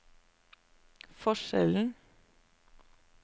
forskjellen